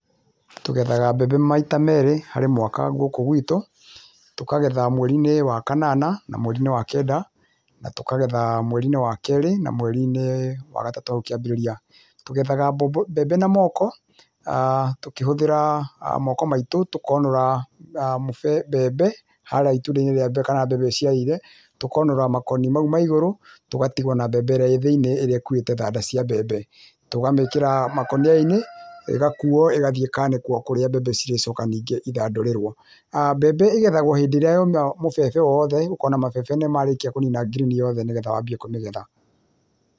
Tũgethaga mbembe maita merĩ harĩ mwaka gũkũ gwitũ, tũkagetha mweri-inĩ wa kanana na mweri-inĩ wa kenda na tũkagetha mweri-inĩ wa kerĩ na mweri-inĩ wa gatatũ hau kĩambĩrĩria. Tũgethaga mbembe na moko, tũkĩhũthĩra moko maitũ, tũkonũra mbembe, harĩa itunda-inĩ rĩa mbere kana harĩa mbembe ĩciarĩire, tũkonũra makoni mau ma igũrũ, tũgatigwo na mbembe ĩrĩa ĩ thĩiniĩ ĩrĩa ĩkuĩte thanda cia mbembe. Tũkamĩkĩra makũnia-inĩ, ĩgakuo, ĩgathiĩ ĩkanĩkwo kũrĩa mbembe irĩcoka ningĩ ithandũrĩrwo. Mbembe ĩgethagwo hĩndĩ ĩrĩa yoma mũbebe moothe ũkona mabebe nĩ marĩkia kũnina ngirini yothe nĩgetha wambie kũmĩgetha.